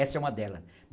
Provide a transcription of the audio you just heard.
Essa é uma delas.